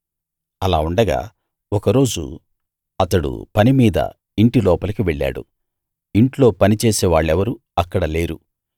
అలా ఉండగా ఒక రోజు అతడు పని మీద ఇంటి లోపలికి వెళ్ళాడు ఇంట్లో పనిచేసే వాళ్ళెవరూ అక్కడ లేరు